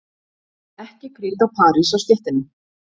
Ekki kríta parís á stéttina.